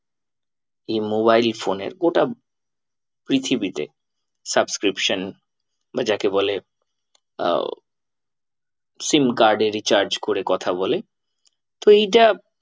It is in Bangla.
এই mobile phone এর গোটা পৃথিবীতে subscription বা যাকে বলে আহ sim card এ recharge করে কথা বলে। তো এইটা